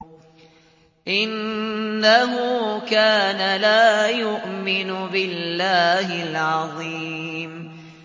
إِنَّهُ كَانَ لَا يُؤْمِنُ بِاللَّهِ الْعَظِيمِ